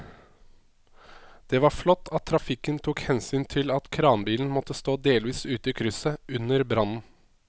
Det var flott at trafikken tok hensyn til at kranbilen måtte stå delvis ute i krysset under brannen.